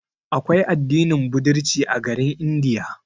Aƙwai addinin budirci a garin India.